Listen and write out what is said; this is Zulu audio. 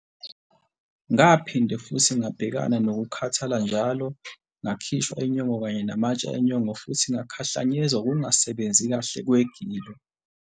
Ngaphinde futhi ngabhekana nokukhathala njalo, ngakhishwa inyongo kanye namatshe enyongo futhi ngakhahlanyezwa ukungasebenzi kahle kwegilo.